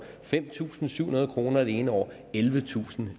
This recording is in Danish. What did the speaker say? fem tusind syv hundrede kroner det ene år og ellevetusind